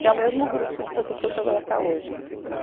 Que é o mesmo grupo de pessoas que eu trabalho até hoje que